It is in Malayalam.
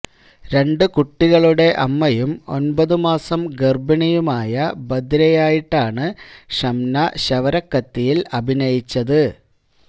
രണ്ട് കുട്ടികളുടെ അമ്മയും ഒന്പത് മാസം ഗര്ഭിണിയുമായ ബധിരയായിട്ടാണ് ഷംന ശവരക്കത്തിയില് അഭിനയിച്ചത്